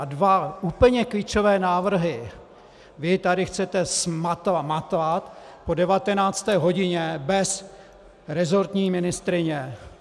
A dva úplně klíčové návrhy vy tady chcete zmatlat po 19. hodině bez resortní ministryně?